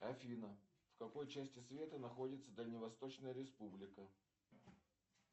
афина в какой части света находится дальневосточная республика